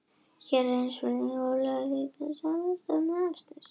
Hér er einnig svarað spurningu Ólafíu Jensdóttur sama efnis.